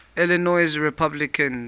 illinois republicans